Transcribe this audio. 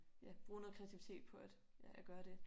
Ja bruge noget kreativitet på at ja at gøre det